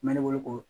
N bɛ ne wele k'o